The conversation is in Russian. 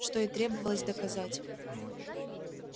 что и требовалось доказать